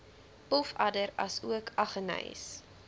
pofadder asook aggeneys